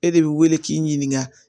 E de bɛ wele k'i ɲininka